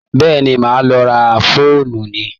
Bẹ́ẹ̀ni, màá lọ ra faolíìnì?